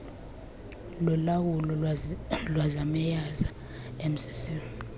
lowawulo lwezamayeza mcc